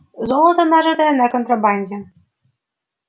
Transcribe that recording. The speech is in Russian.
золото нажитое на контрабанде